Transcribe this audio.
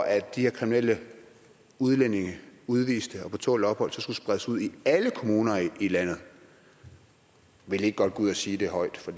at de her kriminelle udlændinge udviste og på tålt ophold så skulle spredes ud i alle kommuner i landet vil i ikke godt gå ud og sige det højt for